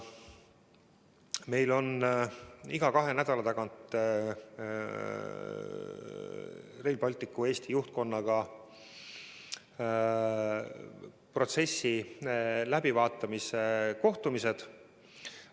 Meil on iga kahe nädala tagant Rail Balticu Eesti juhtkonnaga protsessi läbivaatamise kohtumised.